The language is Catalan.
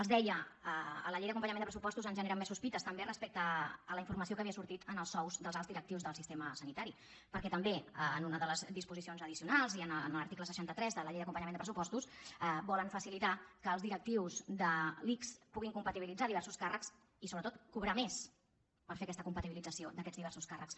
els deia que a la llei d’acompanyament de pressupostos ens generen més sospites també respecte a la informació que havia sortit sobre els sous dels alts directius del sistema sanitari perquè també en una de les disposicions addicionals i a l’article seixanta tres de la llei d’acompanyament de pressupostos volen facilitar que els directius de l’ics puguin compatibilitzar diversos càrrecs i sobretot cobrar més per fer aquesta compatibilització d’aquests diversos càrrecs